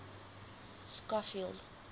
schofield